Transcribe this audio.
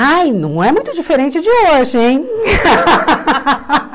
Ai, não é muito diferente de hoje, hein?